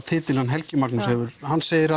titil hann Helgi Magnús hefur hann segir